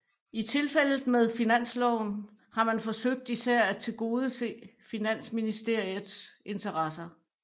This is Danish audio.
I tilfældet med finansloven har man forsøgt især at tilgodese finansministeriets interesser